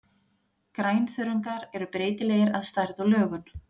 Grænþörungar eru breytilegir að stærð og lögun.